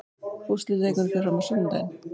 Úrslitaleikurinn fer fram á sunnudaginn.